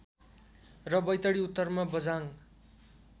र वैतडी उत्तरमा बझाङ्ग